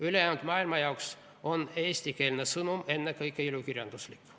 Ülejäänud maailma jaoks on eestikeelne sõnum ennekõike ilukirjanduslik.